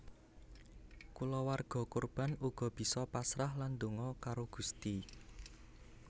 Kulawarga korban uga bisa pasrah lan donga karo Gusti